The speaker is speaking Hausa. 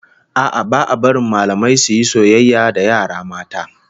A'a, ba a barin mallamai su yi soyayya da yara mata